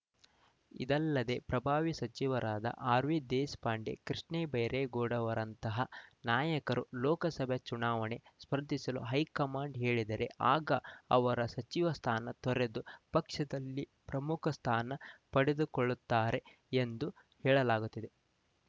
ಇದಲ್ಲದೆ ಪ್ರಭಾವಿ ಸಚಿವರಾದ ಆರ್‌ವಿ ದೇಶಪಾಂಡೆ ಕೃಷ್ಣ ಬೈರೇಗೌಡ ಅವರಂತಹ ನಾಯಕರನ್ನು ಲೋಕಸಭೆ ಚುನಾವಣೆಗೆ ಸ್ಪರ್ಧಿಸಲು ಹೈಕಮಾಂಡ್‌ ಹೇಳಿದರೆ ಆಗ ಅವರ ಸಚಿವ ಸ್ಥಾನ ತೊರೆದು ಪಕ್ಷದಲ್ಲಿ ಪ್ರಮುಖ ಸ್ಥಾನ ಪಡೆದುಕೊಳ್ಳುತ್ತಾರೆ ಎಂದು ಹೇಳಲಾಗುತ್ತಿದೆ